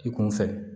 I kunfɛ